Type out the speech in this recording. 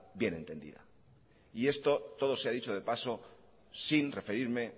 bien entendida esto todo sea dicho de paso sin referirme